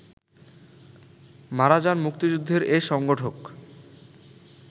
মারা যান মুক্তিযুদ্ধের এ সংগঠক